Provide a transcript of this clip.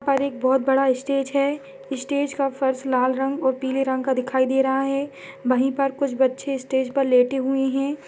--ओर एक बहुत बड़ा स्टेज है स्टेज का फर्श लाल रंग ओर पीले रंग का दिखाई दे रहा है वही पर कुछ बच्चे स्टेज पर लेते हुए हैं।